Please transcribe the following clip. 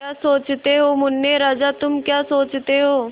क्या सोचते हो मुन्ने राजा तुम क्या सोचते हो